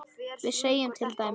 við segjum til dæmis